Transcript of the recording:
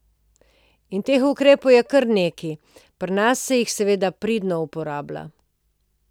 In teh ukrepov je kar nekaj, pri nas se jih seveda pridno uporablja.